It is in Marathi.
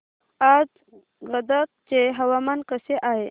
आज गदग चे हवामान कसे आहे